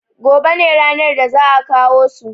gobe ne ranar da za`a kawo su